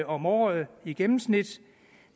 om året i gennemsnit